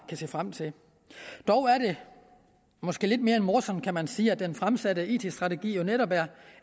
se frem til dog er det måske lidt mere end morsomt kan man sige at den fremsatte it strategi jo netop er